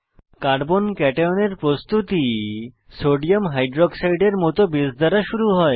carbon কাট্যায়নের প্রস্তুতি sodium hydroxide এর মত বেস দ্বারা শুরু হয়